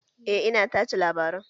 Eh ina tace labaran